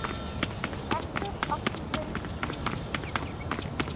reactive oxygen species